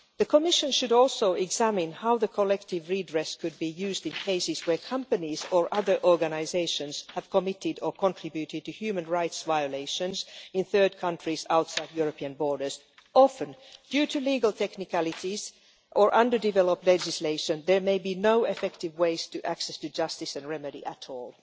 The Commission should also examine how the collective redress could be used in cases where companies or other organisations have committed or contributed to human rights violations in third countries outside European borders. Often, due to legal technicalities or underdeveloped legislation, there may be no effective ways for access to justice and remedy at all.